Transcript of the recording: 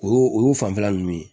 O y'o o y'o fanfɛla nunnu ye